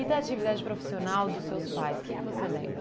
E da atividade profissional dos seus pais, o que você lembra?